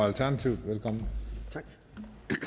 og tak til